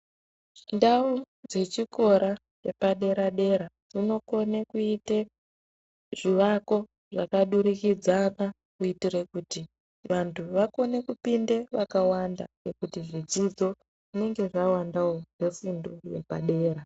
Ndau dzechikora dzepadera-dera dzinokona kuite zvivako zvakadurikidzana kuitira kuti vantu vakone kupinde vakawanda ngekuti zvidzidzo zvinenge zvawandawo zvefundo yepadera.